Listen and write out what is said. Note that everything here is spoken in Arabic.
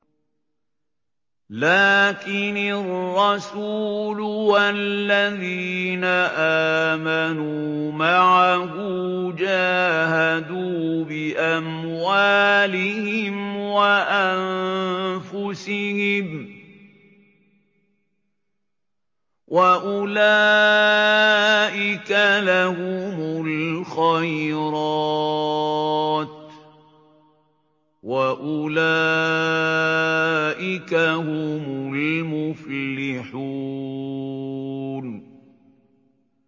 لَٰكِنِ الرَّسُولُ وَالَّذِينَ آمَنُوا مَعَهُ جَاهَدُوا بِأَمْوَالِهِمْ وَأَنفُسِهِمْ ۚ وَأُولَٰئِكَ لَهُمُ الْخَيْرَاتُ ۖ وَأُولَٰئِكَ هُمُ الْمُفْلِحُونَ